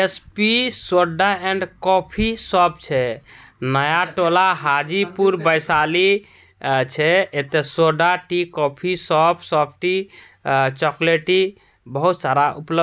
S P soda and coffee shop छै नया टोला हाजीपुर वैशाली छै| एक तो सोडा टी कॉफी शॉप सेफ्टी अ चॉकलेटी बहुत सारा उपल--